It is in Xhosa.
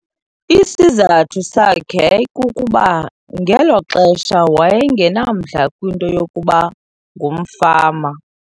Isizathu sakhe yayikukuba ngelo xesha waye ngenamdla kwinto yokuba ngumfama.